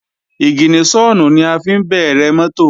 Ìgìníṣọ̀nù ni a fi ń bẹ̀rẹ̀ mọ́tò